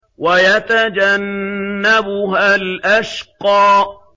وَيَتَجَنَّبُهَا الْأَشْقَى